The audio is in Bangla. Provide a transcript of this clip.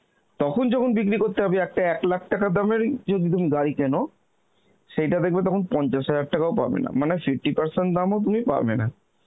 তখন যখন বিক্রি করতে যাবে একটা এক lakh টাকা দামেরই যদি তুমি গাড়ি কেন সেইটা দেখবে তখন পঞ্চাশ হাজার টাকা ও পাবে না মানে fifty percent দামও তুমি পাবেনা